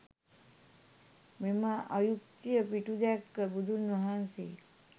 මෙම අයුක්තිය පිටුදැක්ක බුදුන් වහන්සේ